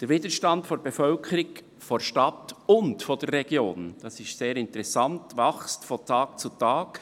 Der Widerstand der Bevölkerung der Stadt und auch der Region – dies ist sehr interessant – wächst von Tag zu Tag.